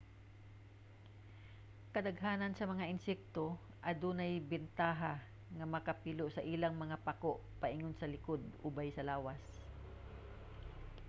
kadaghanan sa mga insekto adunay bentaha nga makapilo sa ilang mga pako paingon sa likod ubay sa lawas